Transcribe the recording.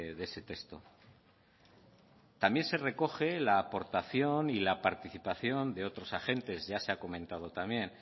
de ese texto también se recoge la aportación y la participación de otros agentes ya se ha comentado también